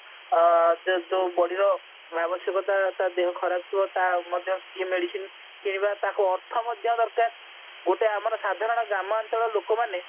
ଅ ତାର ଯୋ ଯୋ ଯୋଉ body ଏ ଆବଶ୍ୟକତା ତ ଆଦେହ ଖରାପ ଥିବ ତା ସିଏ ମଧ୍ୟ ସିଏ medicine ତାକୁ ଅର୍ଥ ମଧ୍ୟ ଦରକାର ଗୋଟେ ଆମର ସାଧାରଣ ଗ୍ରାମାଞ୍ଚଳ ଲୋକମାନେ